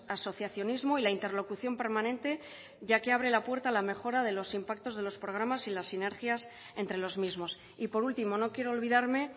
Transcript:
asociacionismo y la interlocución permanente ya que abre la puerta a la mejora de los impactos de los programas y las sinergias entre los mismos y por último no quiero olvidarme